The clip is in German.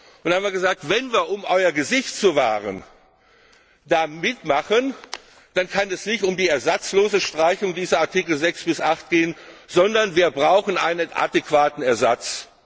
Wir haben gesagt Wenn wir, um euer Gesicht zu wahren, da mitmachen, dann kann es nicht um die ersatzlose Streichung dieser Artikel 6 bis 8 gehen, sondern wir brauchen einen adäquaten Ersatz.